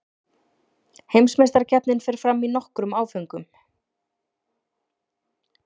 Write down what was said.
Heimsmeistarakeppnin fer fram í nokkrum áföngum